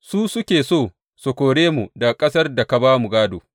Su suke so su kore mu daga ƙasar da ka ba mu gādo.